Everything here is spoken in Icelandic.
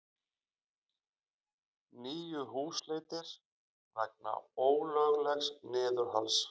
Níu húsleitir vegna ólöglegs niðurhals